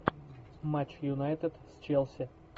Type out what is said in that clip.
матч юнайтед с челси